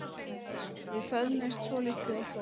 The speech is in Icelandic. Við föðmuðumst svolítið og hlógum.